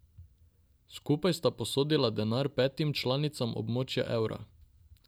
Skupaj sta posodila denar petim članicam območja evra.